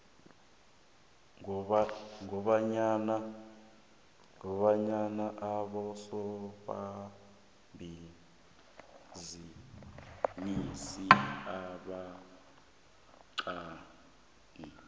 kobanyana abosomabhizinisi abancani